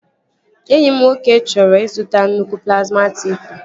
Enyi m nwoke chọrọ ịzụta nnukwu plazma televishọn